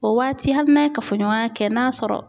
O waati hali n'aye kafoɲɔgɔnya kɛ n'a sɔrɔ